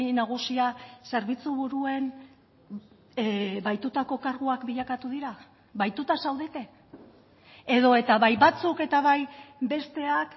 nagusia zerbitzu buruen bahitutako karguak bilakatu dira bahituta zaudete edo eta bai batzuk eta bai besteak